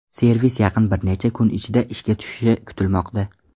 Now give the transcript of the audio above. Servis yaqin bir necha kun ichida ishga tushishi kutilmoqda.